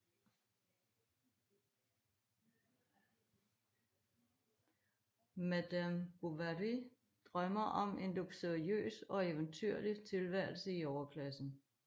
Madame Bovary drømmer om en luksuriøs og eventyrlig tilværelse i overklassen